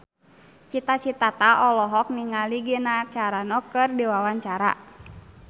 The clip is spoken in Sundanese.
Cita Citata olohok ningali Gina Carano keur diwawancara